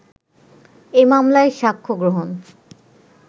এ মামলায় সাক্ষ্য গ্রহণ